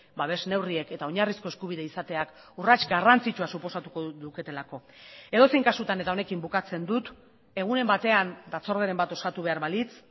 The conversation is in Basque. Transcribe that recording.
babes neurriek eta oinarrizko eskubide izateak urrats garrantzitsua suposatuko luketelako edozein kasutan eta honekin bukatzen dut egunen batean batzorderen bat osatu behar balitz